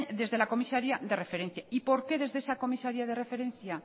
desde la comisaría de referencia y por qué desde esa comisaría de referencia